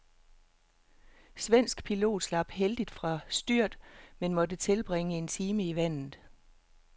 Svensk pilot slap heldigt fra styrt, men måtte tilbringe en time i vandet.